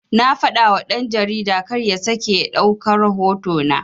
Na fadawa dan-jarida karya sake ya ɗauka rahoto na